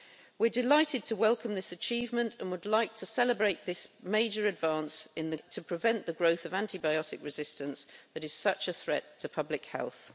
Weʼre delighted to welcome this achievement and would like to celebrate this major advance to prevent the growth of antibiotic resistance that is such a threat to public health.